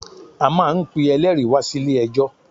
A máa n pe eléèri wá sí ilé ẹjọ̀